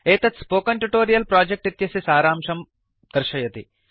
एतत् spoken tutorial project इत्यस्य सारांशं दर्शयति